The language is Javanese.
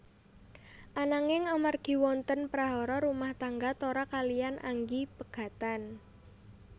Ananging amargi wonten prahara rumah tangga Tora kaliyan Anggi pegatan